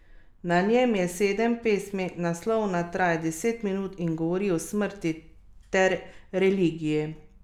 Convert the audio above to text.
Na njem je sedem pesmi, naslovna traja deset minut in govori o smrti ter religiji.